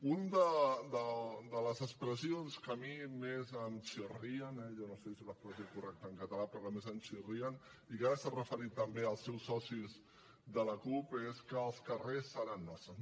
una de les expressions que a mi més em chirrían eh jo no sé si l’expressió és correcta en català però que més em chirrían i que ara s’hi han referit també els seus socis de la cup és que els carrers seran nostres